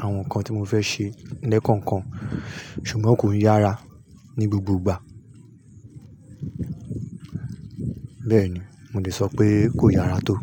àwọn nǹkan tí mo fẹ́ ṣe lẹ́ẹ̀kọ̀ọ̀kan. Ṣùgbọ́n kò ń yára ní gbogbo ìgbà. Bẹ́ẹ̀ni, mo lè sọ pé kò yára tó.